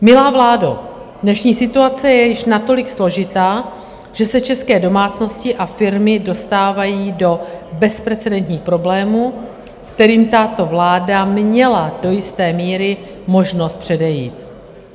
Milá vládo, dnešní situace je již natolik složitá, že se české domácnosti a firmy dostávají do bezprecedentních problémů, kterým tato vláda měla do jisté míry možnost předejít.